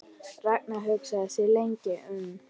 Ragnar hugsaði sig lengi um.